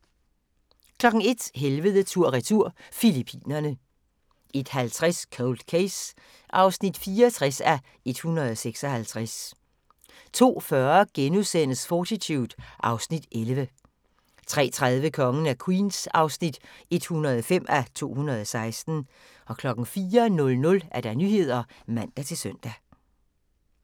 01:00: Helvede tur/retur – Filippinerne 01:50: Cold Case (64:156) 02:40: Fortitude (Afs. 11)* 03:30: Kongen af Queens (105:216) 04:00: Nyhederne (man-søn)